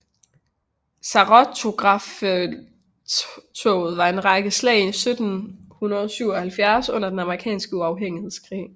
Saratogafelttoget var en række slag i 1777 under den amerikanske uafhængighedskrig